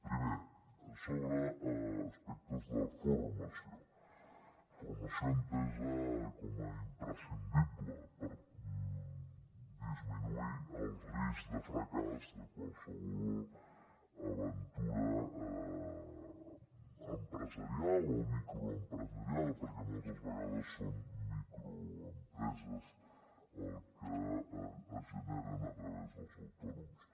primer sobre aspectes de formació formació entesa com a imprescindible per disminuir el risc de fracàs de qualsevol aventura empresarial o microempresarial perquè moltes vegades són microempreses el que es genera a través dels autònoms